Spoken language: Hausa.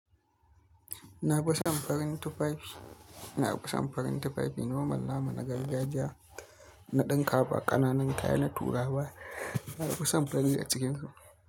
Na fi son farin tufafi. Na fi son farin tufafi. Noma, nama na gargajiya, na dinka ba ƙananan kaya, na turawa. Na fi son farin a cikinsu.